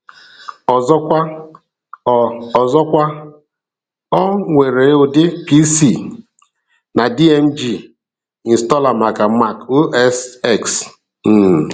Ọzọkwa, ọ Ọzọkwa, ọ nwere ụdị PC na .dmg installer maka Mac OS X. um